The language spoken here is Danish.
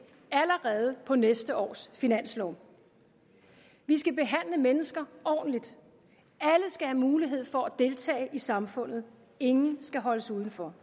allerede på næste års finanslov vi skal behandle mennesker ordentligt alle skal have mulighed for at deltage i samfundet ingen skal holdes udenfor